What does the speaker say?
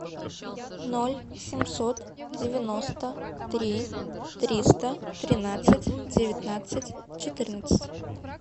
ноль семьсот девяносто три триста тринадцать девятнадцать четырнадцать